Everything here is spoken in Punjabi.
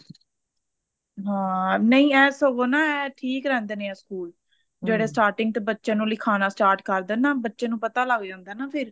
ਹਾਂ ਨਹੀਂ ਐ ਸਗੋ ਨਾ ਐ ਠੀਕ ਰਹਿੰਦੇ ਨੇ ਆ ਸਕੂਲ ਜਿਹੜੇ starting ਚ ਬੱਚੇ ਨੂੰ ਲਿਖਾਨਾ start ਕਰ ਦੇਣ ਨਾ ਬੱਚੇ ਨੂੰ ਪਤਾ ਲੱਗ ਜਾਂਦਾ ਨਾ ਫਿਰ